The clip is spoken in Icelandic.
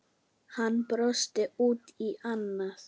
Hann brosti út í annað.